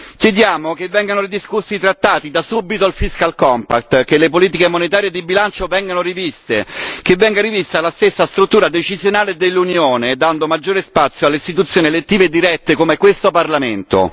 Chiediamo che vengano ridiscussi i trattati, da subito il fiscal compact che le politiche monetarie di bilancio vengano riviste, che venga rivista la stessa struttura decisionale dell'Unione, dando maggiore spazio alle istituzioni elettive dirette come questo Parlamento.